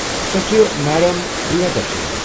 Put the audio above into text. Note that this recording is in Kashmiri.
سۄ چھےٚ میڈم پرِٛیہ درشنی ۔